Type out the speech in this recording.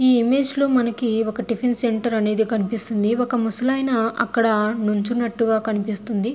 ఈ ఇమేజ్ లో మనకి ఒక తిఫెన్ సెంటర్ అనేది కనిపిస్తుంది ఒక ముసలాయన అక్కడ నిలచ్చునట్టుగా కనిపిస్తుంది.